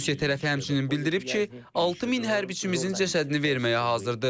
Rusiya tərəfi həmçinin bildirib ki, 6000 hərbçimizin cəsədini verməyə hazırdır.